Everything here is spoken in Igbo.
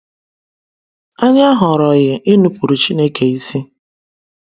Anyị ahọrọghị inupuru Chineke isi.